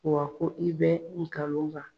Wa ko i bɛ ngalon kan.